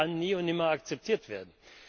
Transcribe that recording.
Das kann nie und nimmer akzeptiert werden.